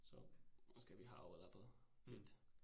Så måske vi har overlappet lidt